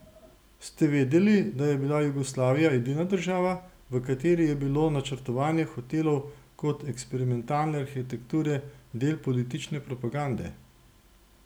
Ste vedeli, da je bila Jugoslavija edina država, v kateri je bilo načrtovanje hotelov kot eksperimentalne arhitekture del politične propagande?